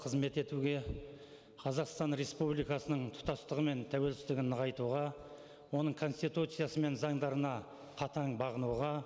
қызмет етуге қазақстан республикасының тұтастығы мен тәуелсіздігін нығайтуға оның конституциясы мен заңдарына қатаң бағынуға